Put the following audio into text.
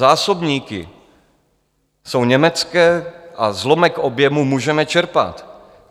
Zásobníky jsou německé a zlomek objemu můžeme čerpat.